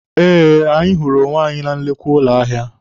Eh, anyị hụrụ onwe anyị na nnukwu ụlọ ahịa.